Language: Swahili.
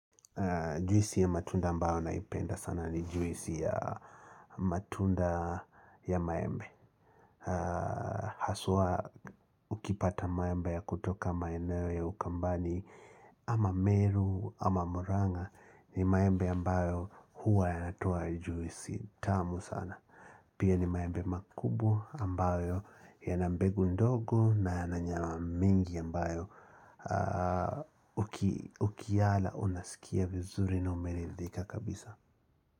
Juisi ya matunda ambayo naipenda sana ni juisi ya matunda ya maembe. Haswa ukipata maembe ya kutoka maeneo ya ukambani ama meru ama muranga ni maembe ambayo huwa yanatoa juisi tamu sana. Pia ni maembe makubwa ambayo yanambe gundogo na yananyama mingi ambayo ukiala unasikia vizuri na umerithika kabisa.